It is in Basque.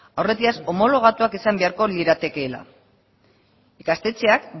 aurretiaz homologatuak izan beharko liratekeela ikastetxeak